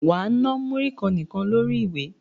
Wà á na múrí kan nìkan lórí ìwé!